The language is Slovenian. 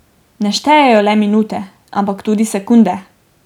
Ne štejejo le minute, ampak tudi sekunde.